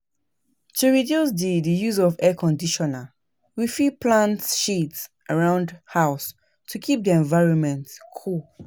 To reduce di di use of Air Conditioner, we fit plant shades round our house to keep di environment cool